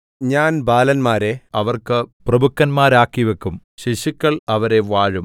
ഞാൻ ബാലന്മാരെ അവർക്ക് പ്രഭുക്കന്മാരാക്കി വയ്ക്കും ശിശുക്കൾ അവരെ വാഴും